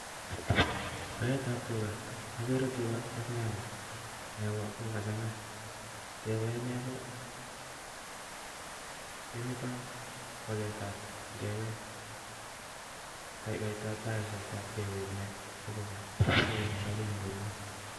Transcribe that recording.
Paeet ap.tuga AK negoo paet ap negoo kemetoi kopendat agoi SAIT nepkinagee peeek